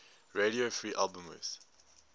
radio free albemuth